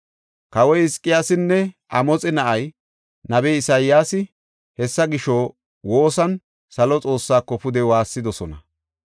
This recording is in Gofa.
Kawoy Hizqiyaasinne Amoxe na7ay, nabey Isayaasi hessa gisho woosan salo Xoossaako pude waassidosona.